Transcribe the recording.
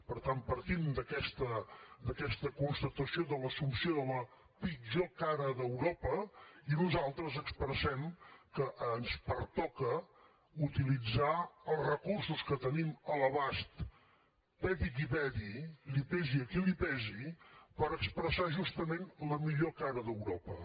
per tant partim d’aquesta constatació de l’assumpció de la pitjor cara d’europa i nosaltres expressem que ens pertoca utilitzar els recursos que tenim a l’abast peti qui peti li pesi a qui li pesi per expressar justament la millor cara d’europa